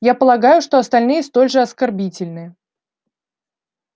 я полагаю что остальные столь же оскорбительны